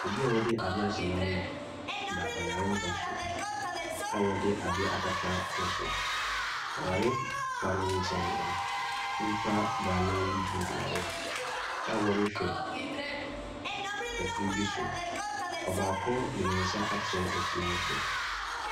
Obia wɔde adeɛ ahyɛ n'ano da ɔyarempa so a wɔde adeɛ akata ne so. Wɔ yare pa ne nkyɛn no nipa baanan bi gyinagyina hɔ a wɔrehwɛ efiri bi so. Ɔbaako de ne nsa akyerɛ efiri ne so.